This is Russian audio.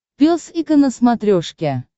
пес и ко на смотрешке